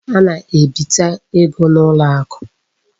A na-ebite ego n'ụlọakụ.